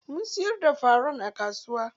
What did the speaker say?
Mun siyar da faran a kasuwa.